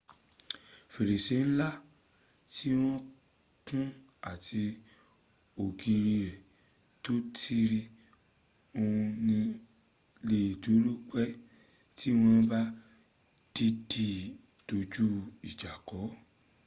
ferese nla re ti won kun ati ogiri re to tirin on ni le duro pe ti won ba diidi doju ija ko